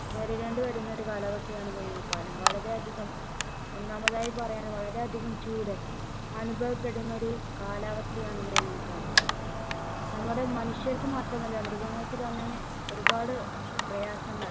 നേരിടേണ്ടിവരുന്ന ഒരു കാലാവസ്ഥയാണ് വേനൽക്കാലം വളരെ അധികം ഒന്നാമതായി പറയാം വളരെ അധികം ചൂട് അനുഭവപ്പെടുന്ന ഒരു കാലാവസ്ഥയാണ് വേനൽക്കാലം നമ്മുടെ മനുഷ്യർക്ക് മാത്രമല്ല മൃഗങ്ങൾക്ക് തന്നെ ഒരുപാട് പ്രയാസങ്ങൾ